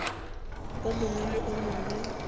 o mongwe le o mongwe